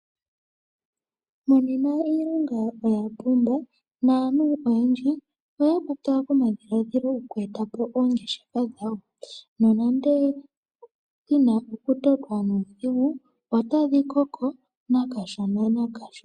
Monena iilonga oya pumba naantu oyendji oya kwatwa komadhiladhilo goku eta po oongeshefa dhawo nonando yina okutotwa nuudhigu otadhi koko kashona nokashona.